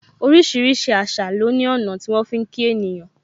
Orísìírísìí àṣà lo ní ọ̀nà tí wọn fi ń kí ènìyàn.